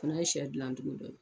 Fana ye siyɛ gilancogo dɔ ye.